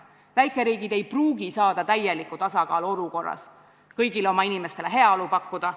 Väikeriigid ei pruugi saavutada täielikku tasakaalu, et kõigile oma inimestele heaolu pakkuda.